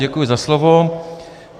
Děkuji za slovo.